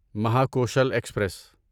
Mahakoshal express